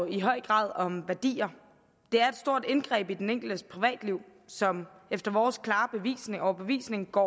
i høj grad om værdier det er et stort indgreb i den enkeltes privatliv som efter vores klare overbevisning går